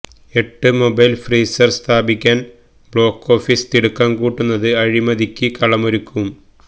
എട്ട് mobile freezer സ്ഥാപിക്കാന് block office തിടുക്കം കൂട്ടുന്നത് അഴിമതിക്ക് കളമൊരുക്കും